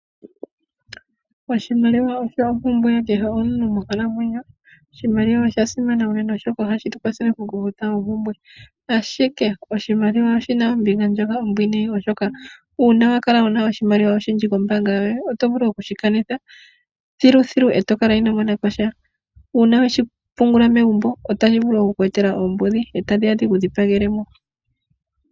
Oshimaliwa osho ompumpwe yomuntu kehe monkalamwenyo. Oshimaliwa osha simana uunene oshoka ohashi tu kwathele oompumbwe. Ashike oshimaliwa oshina ombinga ndjoka ombwiinayi oshoka shampa wa kala wuna oshimaliwa oshindji kombaanga yoye oto vulu okushi kanitha thiluthilu eto kala ino monaposha. Una weshi pungula megumbo otashi vulu oku ku etela oombudhi eta dhiya dhiku dhipagele mo.